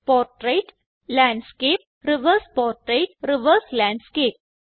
portrait landscape reverse portrait reverse landscape